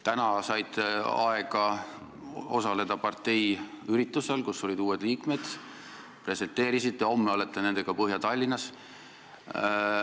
Täna saite aega osaleda parteiüritusel, kus olid uued liikmed, seal te presenteerisite neid, homme olete nendega Põhja-Tallinnas.